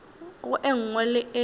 go e nngwe le e